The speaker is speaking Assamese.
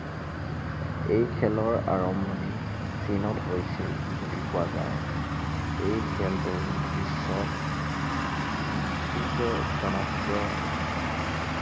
এই খেলৰ আৰম্ভণি চীনত হৈছিল বুলি কোৱা যায়। এই খেলতো বিশ্বত ব্ৰিটিছে জনপ্ৰিয় বনালে।